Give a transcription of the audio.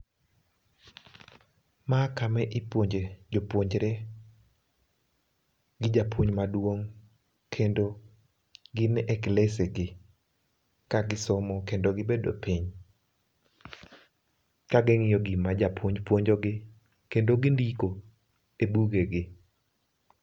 Ma kama ipuonje jopuonjre gi japuonj maduong' kendo gin e klese gi ka gisomo kendo gibedo piny kaging'iyo gima japuonj puonjogi kendo gindiko e buge gi